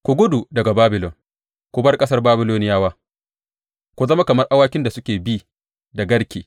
Ku gudu daga Babilon; ku bar ƙasar Babiloniyawa, ku zama kamar awakin da suke bi da garke.